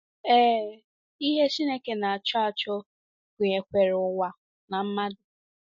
Ee, ihe Chineke na - achọ achọ gụnyekwara ụwa na mmadụ.